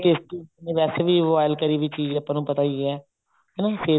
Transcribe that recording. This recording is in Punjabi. tasty ਨੀ ਵੈਸੇ ਵੀ boil ਕਰੀ ਵੀ ਚੀਜ਼ ਆਪਾਂ ਨੂੰ ਪਤਾ ਹੀ ਹੈ face ਨੂੰ